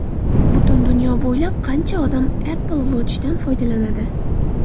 Butun dunyo bo‘ylab qancha odam Apple Watch’dan foydalanadi?